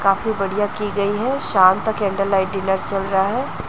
काफी बढ़िया की गई है शाम ता कैंडल लाइट डिनर चल रहा है।